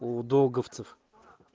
у долговцев